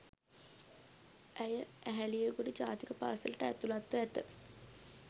ඇය ඇහැලියගොඩ ජාතික පාසලට ඇතුළත්ව ඇත